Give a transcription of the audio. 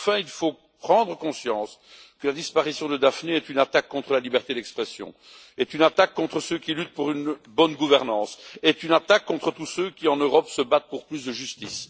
Enfin, il faut prendre conscience que la disparition de Daphne est une attaque contre la liberté d'expression, est une attaque contre ceux qui luttent pour une bonne gouvernance, est une attaque contre tous ceux qui en Europe se battent pour plus de justice.